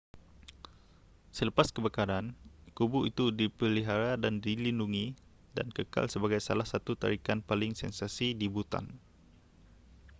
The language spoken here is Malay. selepas kebakaran kubu itu dipelihara dan dilindungi dan kekal sebagai salah satu tarikan paling sensasi di bhutan